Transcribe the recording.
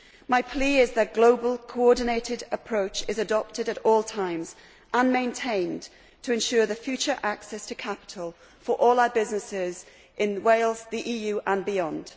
My plea is that a global, coordinated approach is adopted at all times and maintained to ensure the future access to capital for all our businesses in Wales, the EU and beyond.